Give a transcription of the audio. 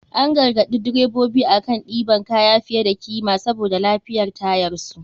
An garagaɗi drebobi akan ɗiban kaya fiye da kima saboda lafiyar tayarsu.